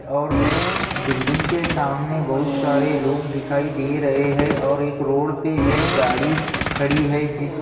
और बिल्डिंग के सामने बहुत सारे लोग दिखाई दे रहे हैं और एक रोड पे एक गाड़ी खड़ी है जिस --